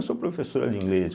Eu sou professora de inglês.